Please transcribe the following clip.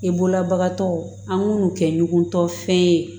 I bolobagatɔw an b'u kɛ ɲɔgɔn tɔ fɛn ye